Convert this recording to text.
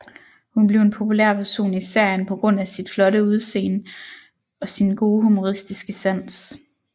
Hun blev en populær person i serien på grund af sit flotte udsende og sin gode humoristiske sans